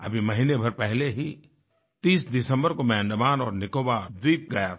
अभी महीने भर पहले ही 30 दिसंबर को मैं अंडमान और निकोबार द्वीप गया था